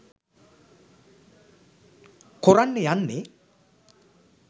කොරන්න යන්නේ?